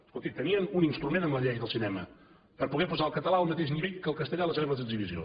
escolti tenien un instrument amb la llei del cinema per a poder posar el català al mateix nivell que el castellà a les sales d’exhibició